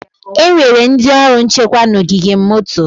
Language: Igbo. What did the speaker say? Enwere ndị ọrụ nchekwa na ogige moto.